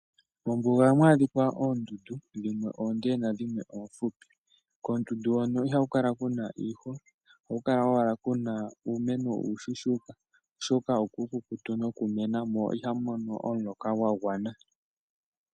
Mombuga ohamu adhika oondundu dhimwe oonde na dhimwe oofupi. Koondundu hono ihaku kala kuna iihwa ohaku kala owaka kuna uumeno uushushuka ,oshoka okuukukutu noku mena mo ihamu mono omuloka gwa gwana.